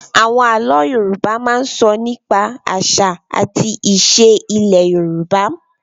Àwọn àlọ́ Yorùbá máa ń sọ nípa àṣà àti ìṣe ilẹ̀ Yorùbá